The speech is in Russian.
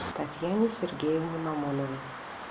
татьяне сергеевне мамоновой